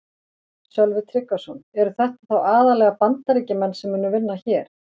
Sölvi Tryggvason: Eru þetta þá aðallega Bandaríkjamenn sem munu vinna hér?